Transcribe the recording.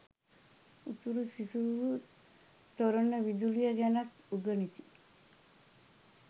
උතුරු සිසුහු තොරණ විදුලිය ගැනත් උගනිති